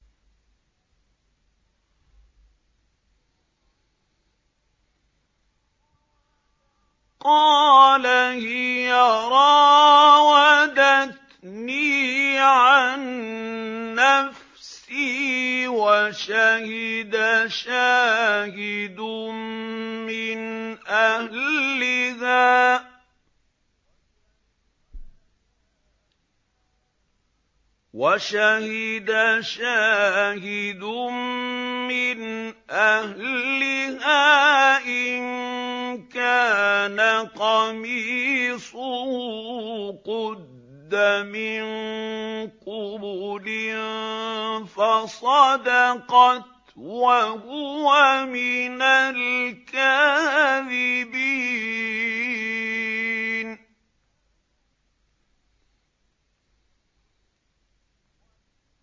قَالَ هِيَ رَاوَدَتْنِي عَن نَّفْسِي ۚ وَشَهِدَ شَاهِدٌ مِّنْ أَهْلِهَا إِن كَانَ قَمِيصُهُ قُدَّ مِن قُبُلٍ فَصَدَقَتْ وَهُوَ مِنَ الْكَاذِبِينَ